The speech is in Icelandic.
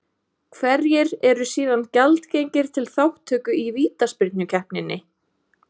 Hverjir eru síðan gjaldgengir til þátttöku í vítaspyrnukeppninni?